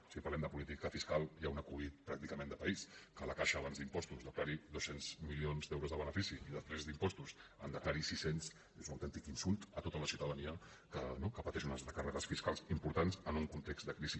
si parlem de política fiscal hi ha un acudit pràcticament de país que la caixa abans d’impostos declari dos cents milions d’euros de benefici i després d’impostos en declari sis cents és un autèntic insult a tota la ciutadania no que pateix unes recàrregues fiscals importants en un context de crisi